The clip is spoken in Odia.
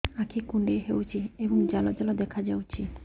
ଆଖି କୁଣ୍ଡେଇ ହେଉଛି ଏବଂ ଜାଲ ଜାଲ ଦେଖାଯାଉଛି